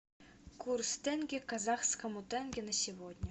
курс тенге к казахскому тенге на сегодня